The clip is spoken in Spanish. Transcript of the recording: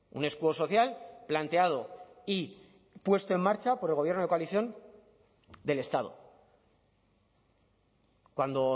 un escudo social planteado y puesto en marcha por el gobierno de coalición del estado cuando